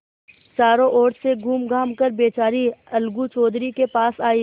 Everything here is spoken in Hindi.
चारों ओर से घूमघाम कर बेचारी अलगू चौधरी के पास आयी